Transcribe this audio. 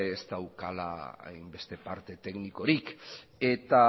ez daukala hainbeste parte teknikorik eta